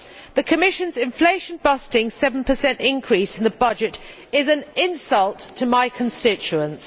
The Commission's inflation busting 7 increase in the budget is an insult to my constituents.